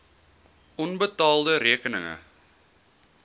onbetaalde rekeninge